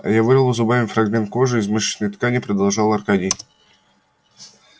я вырвал зубами фрагмент кожи и мышечной ткани продолжал аркадий